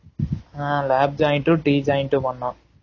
ஆஹ் lab joint உம் D joint உம் பண்ணோம்